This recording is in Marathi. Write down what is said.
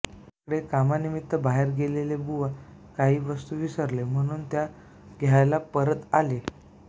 इकडे कामानिमित्त बाहेर गेलेले बुवा काही वस्तू विसरले म्हणून त्या घ्यायला परत आले